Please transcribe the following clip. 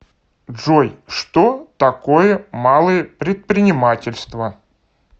джой что такое малое предпринимательство